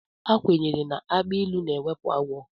Ekwenyere na agbilu na-ewepụ agwọ.